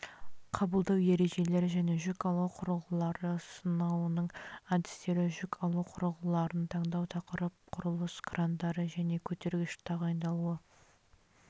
қабылдау ережелері және жүк алу құрылғылары сынауының әдістері жүк алу құрылғыларын таңдау тақырып құрылыс крандары және көтергіштер тағайындалуы